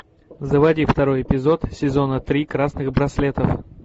заводи второй эпизод сезона три красных браслетов